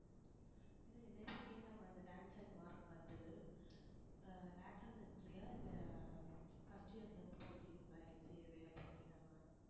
என்னையவே கேட்டாங்க அந்த mark பாத்து ஆஹ் lateral entry யா இல்ல first year ல இருந்து படிக்கிறீங்களா MCA வே அப்டினு கேட்டாங்க